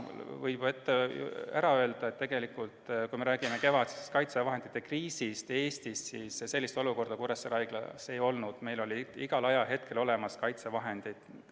Võib juba ette ära öelda, et kui me räägime kevadisest kaitsevahendite kriisist Eestis, siis Kuressaare Haiglas sellist olukorda ei olnud, meil olid igal ajahetkel kaitsevahendid olemas.